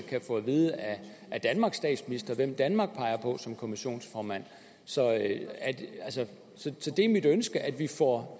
kan få at vide af danmarks statsminister hvem danmark peger på som kommissionsformand så det er mit ønske at vi får